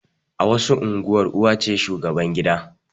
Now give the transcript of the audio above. A wasu unguwar uwa ce shugaban gida